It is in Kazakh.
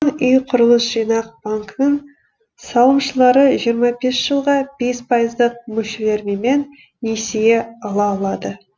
үй құрылыс жинақ банкінің салымшылары жиырма бес жылға бес пайыздық мөлшерлемемен несие ала алады